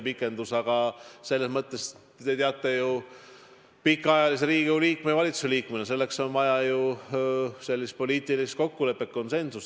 Aga te teate pikaajalise Riigikogu ja valitsuse liikmena, et selleks on vaja ju poliitilist kokkulepet, konsensust.